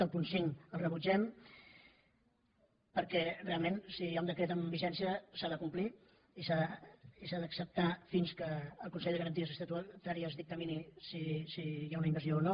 el punt cinc el rebutgem perquè realment si hi ha un decret en vigència s’ha de complir i s’ha d’acceptar fins que el consell de garanties estatutàries dictamini si hi ha una invasió o no